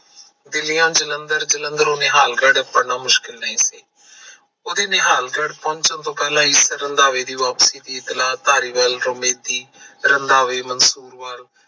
ਦਿੱਲੀਓ ਜਲੰਧਰ ਜਲੰਧਰੋ ਨਿਹਾਲਗੜ ਮੁਸ਼ਕਿਲ ਸੀ। ਉਹਦੇ ਨਿਹਾਲਗੜ ਪਹੁੰਚਣ ਤੋਂ ਪਹਿਲਾਂ ਰੰਧਾਵੇ ਦੀ ਵਾਪਸੀ ਦੀ ਇਤਲਾਹ ਧਾਰੀਵਾਲ ਹਮੇਦੀ ਰੰਧਾਵੇ ਮਸੂਰ ਵਲ